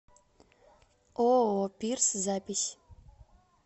ооо пирс запись